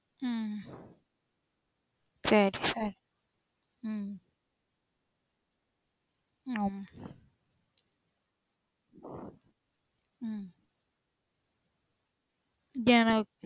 உம் சரி சரி. உம் ஆமா உம் ஏன்னா